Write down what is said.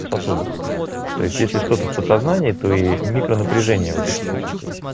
сосуды то есть если что-то в подсознании это и микро напряжения вот этих чувствуешь